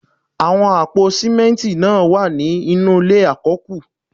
Àwọn àpò símẹ́ntì náà wà ní inú ilé àkọ́kù